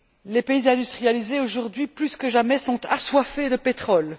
Les pays industrialisés, aujourd'hui plus que jamais, sont assoiffés de pétrole.